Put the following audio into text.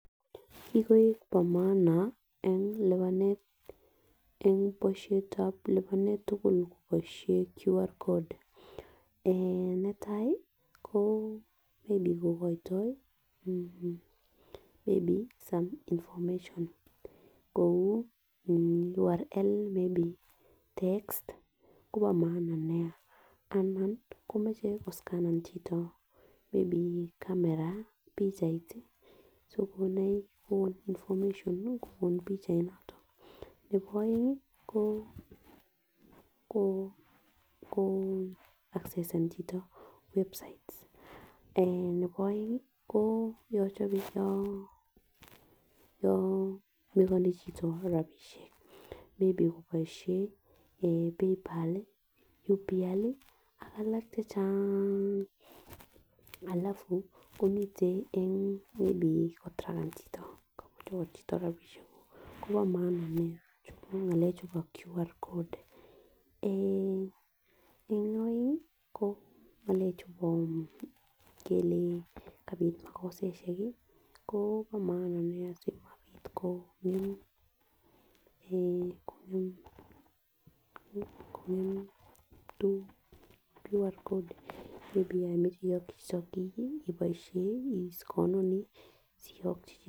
Kikoik po maanaen polishetab lipanet tugul polishetab qr code ee netai ko wending kokoitoi meni sun information kou urrl maybe text kobo maana nia anan komoche koscanen chito anan kamera pichainik choponoik information kobun pichainoton nebo oenge ko assen chito ee nebo oenge ii chope yon meconium chito rabishek koboshen PayPal url [cs[ak alak chechang alafu ko miten en kotiraken chito yan kachor rabishek guk kobo maana nia chumoe ngalechubo qr code ee en oenge ko en ngalek chubo yan kati mokosaishek ko maana sikobik ko ee koker qr code yo imoche iyokyi iboishen isconenii asiyokyi.